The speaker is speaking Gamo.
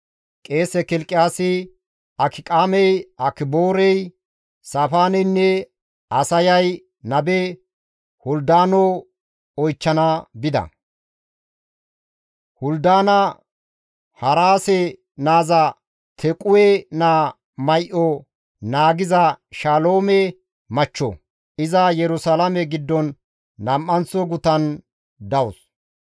Qeese Kilqiyaasi, Akiqaamey, Akiboorey, Saafaaneynne Asaayay nabe Huldaano oychchana bida; Huldaana Haraase naaza Tequwe naa may7o naagiza Shaloome machcho; iza Yerusalaame giddon nam7anththo gutan dawus.